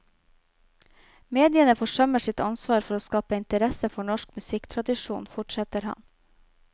Mediene forsømmer sitt ansvar for å skape interesse for norsk musikktradisjon, fortsetter han.